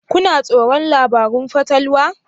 Kuna tsoron labarun fatalwa?